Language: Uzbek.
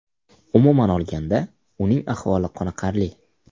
Umuman olganda, uning ahvoli qoniqarli.